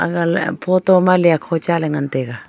ralia photo ma lia kho cha ley ngan taiga.